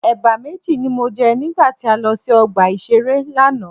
Ẹ̀bà méjì ni mo jẹ nígbà tí a lọ sí ọgbà ìṣeré lánàá.